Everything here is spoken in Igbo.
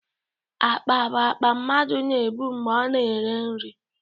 Akpa bụ akpa mmadụ na-ebu mgbe ọ na-ere nri